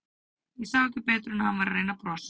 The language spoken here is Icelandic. Ég sá ekki betur en að hann væri að reyna að brosa.